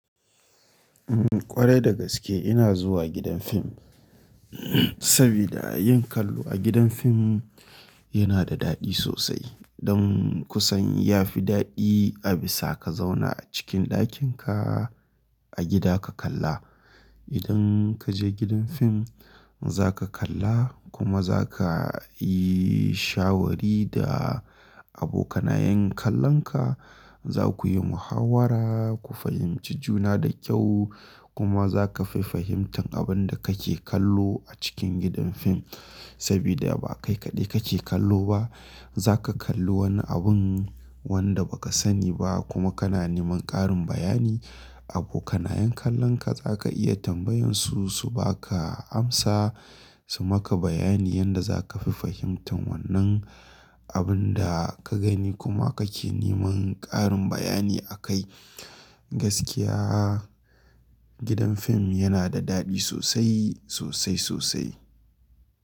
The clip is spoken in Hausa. Umm ƙwarai da gaske ina zuwa gidan fim sabida yin kallo a gidan fim yana da daɗi sosai. Don kusan ya fi daɗi a bisa ka zauna a cikin ɗakin ka a gida ka kalla. Idan kaje gidan fim zaka kalla kuma zaka yi shawari da abokanayen kallon ka. Za ku yi muhawara, ku fahimci juna da kyau kuma zaka fi fahimtar abin da kake kallo a cikin gidan fim. Sabida ba kai kaɗai kake kallo ba. Zaka kallo wani abin wanda ba ka sani ba kuma kana neman ƙarin bayani. Abokanayen kallon ka zaka iya tambayansu su baka amsa. Su maka bayani yanda zaka fi fahimtar wannan abin da ka gani kuma kake neman ƙarin bayani akai. Gaskiya gidan fim yana da daɗi sosai, sosai sosai.